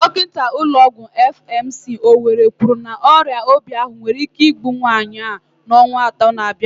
Dọkinta ụlọ ọgwụ FMC, Owerri kwuru na ọrịa obi ahụ nwere ike igbu nwaanyị a n'ọnwa atọ na-abịa abịa.